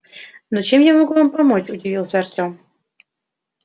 но чем я могу вам помочь удивился артём